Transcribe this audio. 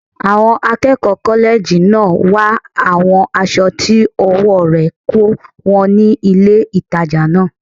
Àwọn akẹ́kọ̀ọ́ kọ́lẹ́ẹ̀jì náà wá àwọn aṣọ tí ọwọ́ rẹ̀ kò wọ́n ní ilé ìtajà náà